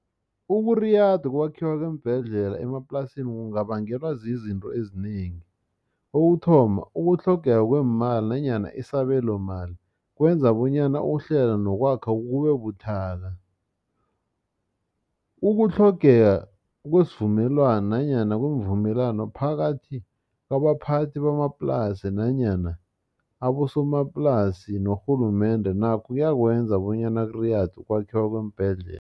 Ukuriyada ukwakhiwa kweembhedlela emaplasini kungabangelwa zizinto ezinengi ukuthoma ukutlhogeka kweemali nanyana isabelo mali kwenza bonyana ukuhlela nokwakha kube buthaka. Ukutlhogeka kwesivumelwani nanyana kweemvumelwano phakathi kwabaphathi bamaplasi nanyana abosomaplasi norhulumende nakho kuyakwenza bonyana kuriyade ukwakhiwa kweembhedlela.